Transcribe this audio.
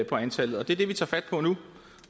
på antallet og det er det vi tager fat på nu